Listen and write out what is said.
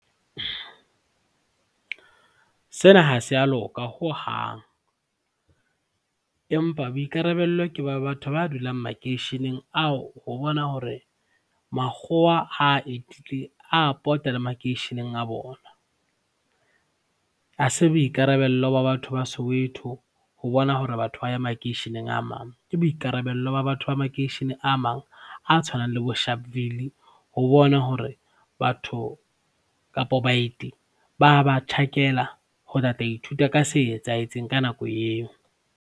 Sena ha se a loka hohang empa boikarabello ke ba batho ba dulang makeisheneng ao ho bona hore makgowa ha etile a pota le makeisheneng a bona. Ha se boikarabello ba batho ba Soweto ho bona hore batho ba ya makeisheneng a mang, ke boikarabello ba batho ba makeishene a mang a tshwanang le boSharpville ho bona hore batho kapa baeti ba ba tjhakela ho tlatla ithuta ka se etsahetseng ka nako eo.